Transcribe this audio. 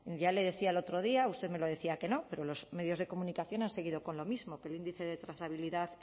ya le decía el otro día usted me decía que no pero los medios de comunicación han seguido con lo mismo que el índice de trazabilidad